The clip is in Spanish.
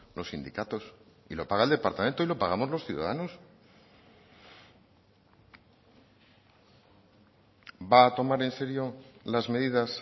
los sindicatos lo paga el departamento y lo pagamos los ciudadanos va a tomar en serio las medidas